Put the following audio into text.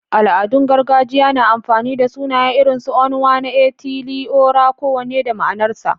Al’adun gargajiya na amfani da sunaye irin su Onwa-na-etili-ora, kowanne da ma’anarsa.